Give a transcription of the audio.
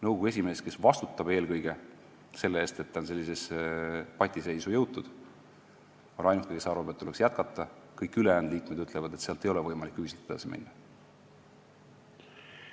Nõukogu esimees, kes eelkõige vastutab selle eest, et on patiseisu jõutud, on ainuke, kes arvab, et tuleks jätkata, kõik ülejäänud liikmed ütlevad, et ei ole võimalik ühiselt edasi minna.